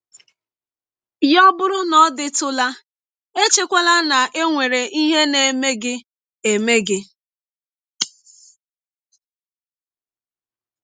Ya bụrụ na ọ dịtụla, echekwala na e nwere ihe na - eme gị eme gị.